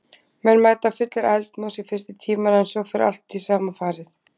Menn mæta fullir eldmóðs í fyrstu tímana en svo fer allt í sama farið.